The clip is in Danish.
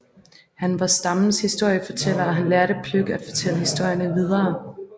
Han var stammens historiefortæller og han lærte Pløk at fortælle historierne videre